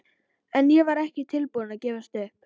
En ég var ekki tilbúin að gefast upp.